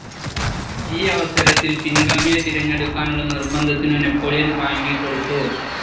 ഈയവസരത്തിൽ പിൻഗാമിയെ തിരഞ്ഞെടുക്കാനുള്ള നിർബന്ധത്തിനു നാപ്പോളിയൻ വഴങ്ങിക്കൊടുത്തു.